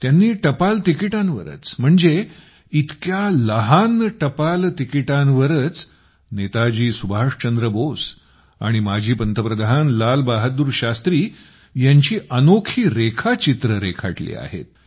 त्यांनी टपाल तिकिटांवरच म्हणजे इतक्या लहान टपाल तिकिटांवरच नेताजी सुभाषचंद्र बोस आणि माजी पंतप्रधान लाल बहादूर शास्त्री यांची अनोखी रेखाचित्रे रेखाटली आहेत